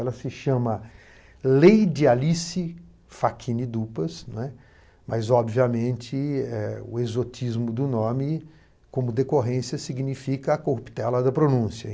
Ela se chama Leide Alice Fachini Dupas, não é? mas, obviamente, o exotismo do nome como decorrência significa a corruptela da pronúncia.